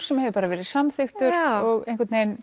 sem hefur verið samþykktur og einhvern veginn